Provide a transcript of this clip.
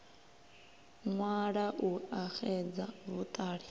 ṅwala u a xedza vhuṱala